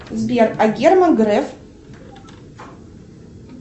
сбер а герман греф